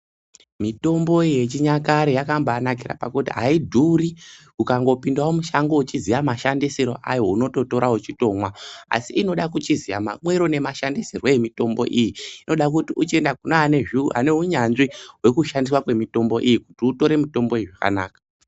Mitombo yechinyakare yakabainakira pakuti aidhuri ukangopindawo mushango uchiziya mashandisirwe ayo unototora wetomwa asi inoda uchiziya mamwiro nemashandisirwe emitombo iyi ayo wochienda kune ane unyanzvi wekushandswa kwemutombo iyi kuti utore mitombo iyi zvakanaka .